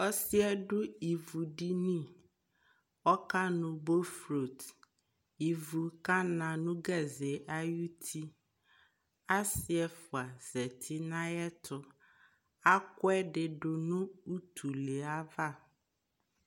Ɔsi yɛ du ivu diniƆka nu boflotIvu ka na nu ayʋ gaze ayʋ tiAsi fua zati na yɛ tuAku ɛdi nu utulɛ ava